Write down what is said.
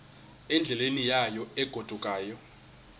endleleni yayo egodukayo